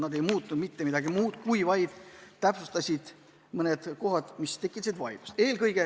Need ei muutnud mitte midagi muud, kui vaid täpsustasid mõned kohad, mis tekitasid vaidlust.